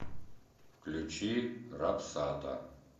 включи рапсата